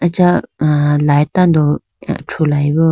acha light tando thru layibo.